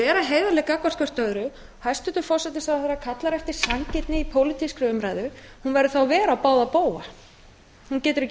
vera heiðarleg gagnvart hvert öðru hæstvirtur forsætisráðherra kallar eftir sanngirni í pólitískri umræðu hún verður þá að vera á báða bóga hann getur ekki